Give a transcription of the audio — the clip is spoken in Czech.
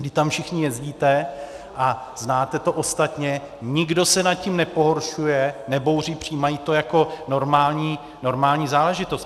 Vždyť tam všichni jezdíte a znáte to ostatně, nikdo se nad tím nepohoršuje, nebouří, přijímají to jako normální záležitost.